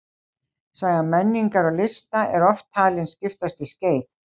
Saga menningar og lista er oft talin skiptast í skeið.